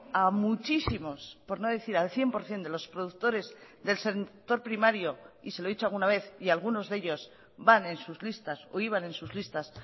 a muchísimos por no decir al cien por ciento de los productores del sector primario y se lo he dicho alguna vez y algunos de ellos van en sus listas o iban en sus listas